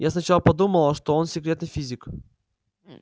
я сначала подумала что он секретный физик